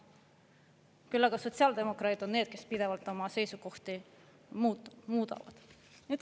Küll aga sotsiaaldemokraadid on need, kes pidevalt oma seisukohti muudavad.